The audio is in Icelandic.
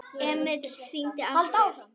Emil hringdi aftur.